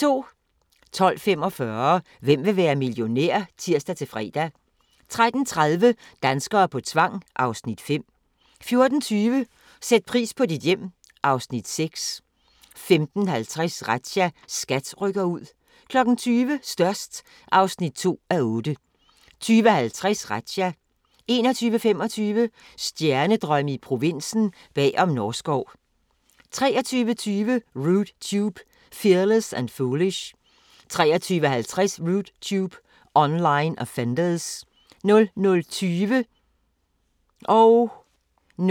12:45: Hvem vil være millionær? (tir-fre) 13:30: Danskere på tvang (Afs. 5) 14:20: Sæt pris på dit hjem (Afs. 3) 15:50: Razzia – SKAT rykker ud 20:00: Størst (2:8) 20:50: Razzia 21:25: Stjernedrømme i provinsen – bag om Norskov 23:20: Rude Tube – Fearless and Foolish 23:50: Rude Tube – Online Offenders 00:20: Grænsepatruljen (tir og tor)